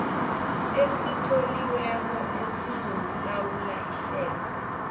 esitloliweko esizokulawula ihlelo